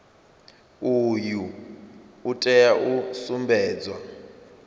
uyu u tea u sumbedza